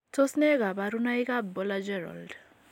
Tos nee kabarunaik ab Baller Gerold